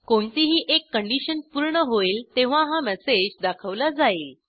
कोणतीही एक कंडिशन पूर्ण होईल तेव्हा हा मेसेज दाखवला जाईल